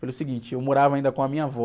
Pelo seguinte, eu morava ainda com a minha avó.